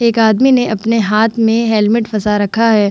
एक आदमी ने अपने हाथ में हेलमेट फसा रखा है ।